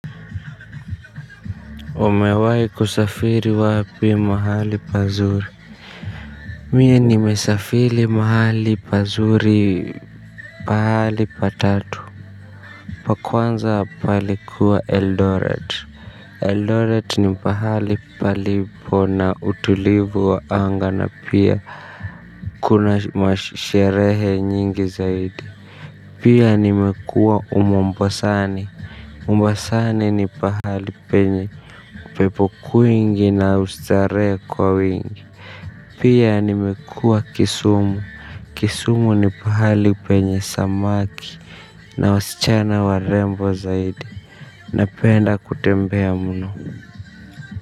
Umewahi kusafiri wapi mahali pazuri. Mie nimesafiri mahali pazuri. Pahali patatu. Pa kwanza palikuwa eldoret Eldoret ni pahali palipo na utulivu wa anga na pia kuna masherehe nyingi zaidi. Pia nimekua umombasani Mombasani ni pahali penye upepo kwingi na ustarehe kwa wingi. Pia nimekua kisumu Kisumu ni pahali penye samaki. Na wasichana warembo zaidi. Napenda kutembea mno.